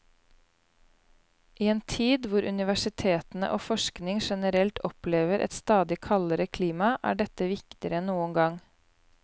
I en tid hvor universitetene og forskning generelt opplever et stadig kaldere klima, er dette viktigere enn noen gang.